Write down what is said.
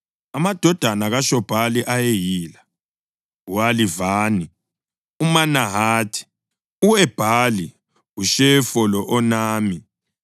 Amadodana kaShobhali ayeyila: u-Alivani, uManahathi, u-Ebhali, uShefo lo-Onami.